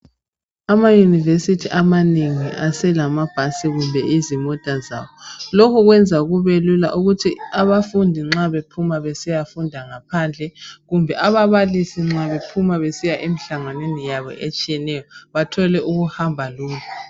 Amayunivesithi amanengi aselamabhasi lezimota zabo lokhu kwenza kube Lula ukuthi abafundi nxa bephuma besiya funda ngaphandle kumbe ababalisi besiya nxa bephuma besiya emihlanganweni yabo bathole ukuhamba lula